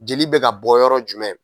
Jeli bɛ ka bɔ yɔrɔ jumɛn?